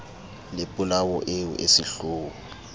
le polao eo e sehloho